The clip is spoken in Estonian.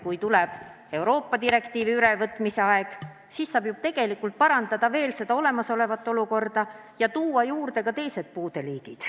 Kui tuleb Euroopa direktiivi ülevõtmise aeg, siis saab ju veel parandada seda olemasolevat olukorda ja tuua juurde ka teised puudeliigid.